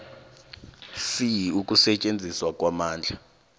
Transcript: c ukusetjenziswa kwamandla